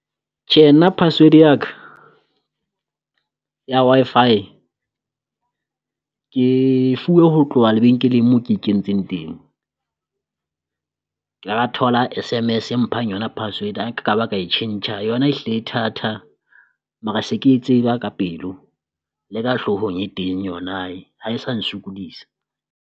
Tjhe nna password ya ka ya Wi-Fi ke e fuwe ho tloha lebenkeleng moo ke e kentseng teng. Ke ile ra thola S_MS e mphang yona password ha ke ka ba ka e tjhentjha yona e hlile e thatha, mara se ke e tseba ka pelo le ka hloohong e teng yona ha e sa nsokodisa.